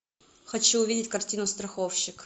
хочу увидеть картину страховщик